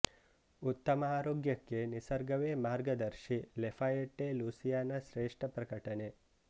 ಉತ್ತಮ ಆರೋಗ್ಯಕ್ಕೆ ನಿಸರ್ಗವೇ ಮಾರ್ಗದರ್ಶಿ ಲೆಫಯೆಟ್ಟೆ ಲೂಸಿಯಾನ ಶ್ರೇಷ್ಟ ಪ್ರಕಟಣೆ